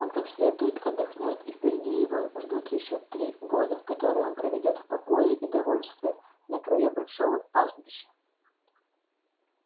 он как следует отдохнёт и впереди его ждут ещё три года которые он проведёт в покое и довольстве на краю большого пастбища